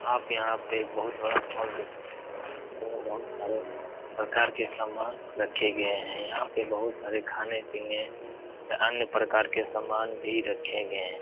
आप यहाँ पे एक बहोत बड़ा मॉल देख सकते हैं। वो बहोत सारे प्रकार के समान रखे गए हैं। यहाँ पे बहोत सारे खाने पीने अन्य प्रकार के सामान भी रखे गए हैं।